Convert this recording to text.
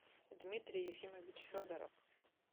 дмитрий ефимович федоров